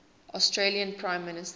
australian prime minister